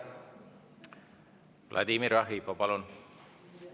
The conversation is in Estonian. Vladimir Arhipov, palun!